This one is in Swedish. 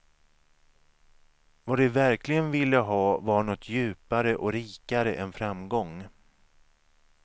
Vad de verkligen ville ha var något djupare och rikare än framgång.